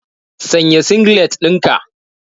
Sanya singlet ɗinka.